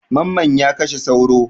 Mamman ya kashe sauro.